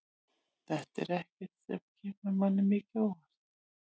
Þetta er ekkert sem kemur manni mikið á óvart.